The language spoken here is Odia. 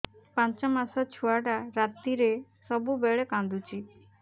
ପାଞ୍ଚ ମାସ ଛୁଆଟା ରାତିରେ ସବୁବେଳେ କାନ୍ଦୁଚି